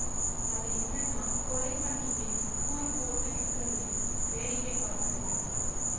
அது என்னன்னா கொலை பண்றதையும் கூறு போட்டு விக்கதையும் வேடிக்கை பார்க்கறது